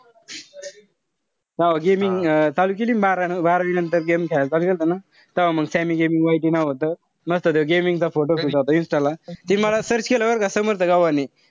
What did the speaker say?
Gaming चालू केली न बारावी बारावी नंतर तव्हा game खेळायला चालू केलंत ना तव्हा मंग sammy gimmy vigour नाव व्हतं. मस्त तो gaming चा photo होता insta ला. तिनी मला search केलं बरं का. समर्थ गव्हाणे.